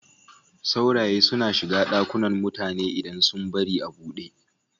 Sauraye suna shiga ɗakunan mutane idan sun bari a buɗe.